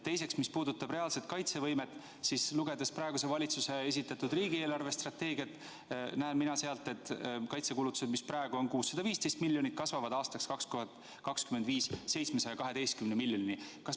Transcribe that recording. Teiseks, mis puudutab reaalset kaitsevõimet, siis lugedes praeguse valitsuse esitatud riigieelarve strateegiat, näen mina sealt, et kaitsekulutused, mis praegu on 615 miljonit eurot, kasvavad 2025. aastaks 712 miljoni euroni.